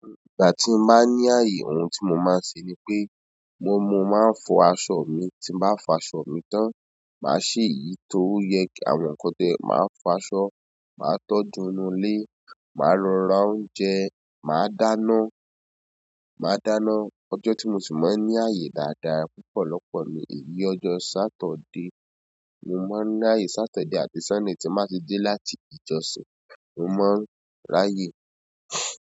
Ìgbà tí mo bá ní ààyè ohun tí mo máa ń ṣe ni pé mo máa ń fọ aṣọ mi, tí bá fọ aṣọ mi tán, màá sì yìí tó yẹ kí àwọn nǹkan tẹ̀, màá fọ aṣọ, màá tọ́jú inú ilé, màá lọ ra oúnjẹ, màá dáná, màá dáná. Ọjọ́ tí mo sì máa ń ni ààyè dáadáa lọpọlọpọ ni ìbí ọjọ́ Saturday. Mo máa ń ráyè Saturday àbí Sunday tín ba ti dé láti ìjọsìn, mo máa ń ráyè.